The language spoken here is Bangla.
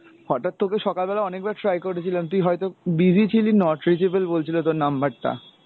হঠাৎ তোকে সকালবেলা অনেকবার try করেছিলাম তুই হয়তো busy ছিলি not reachable বলছিলো তোর number টা।